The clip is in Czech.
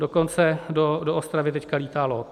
Dokonce do Ostravy teď létá LOT.